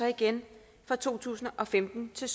igen fra to tusind og femten til